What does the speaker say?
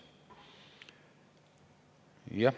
Jah.